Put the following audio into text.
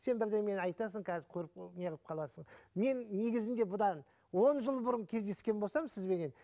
сен бірдемені айтасың қазір көріп неғып қаласың мен негізінде бұдан он жыл бұрын кездескен болсам сізбенен